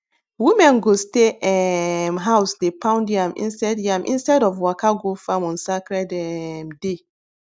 women go stay um house dey pound yam instead yam instead of waka go farm on sacred um day